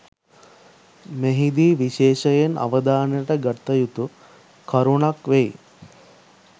මෙහිදී විශේෂයෙන් අවධානයට ගත යුතු කරුණක් වෙයි